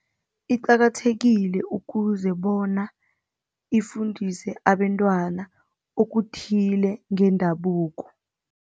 Iqakathekile ukuze bona ifundiswe abentwana okuthile ngendabuko.